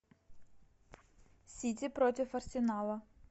сити против арсенала